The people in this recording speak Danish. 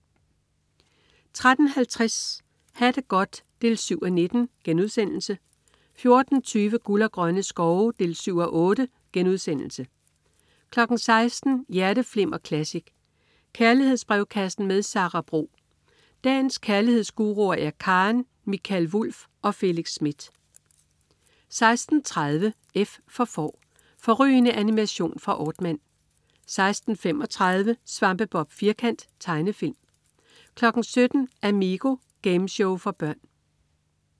13.50 Ha' det godt 7:19* 14.20 Guld og grønne skove 7:8* 16.00 Hjerteflimmer Classic. Kærlighedsbrevkassen med Sara Bro. Dagens kærlighedsguruer er Karen, Mikael Wulff og Felix Smith 16.30 F for Får. Fårrygende animation fra Aardman 16.35 Svampebob Firkant. Tegnefilm 17.00 Amigo. Gameshow for børn